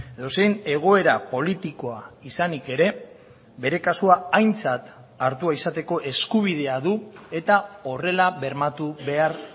edozein egoera politikoa izanik ere bere kasua aintzat hartua izateko eskubidea du eta horrela bermatu behar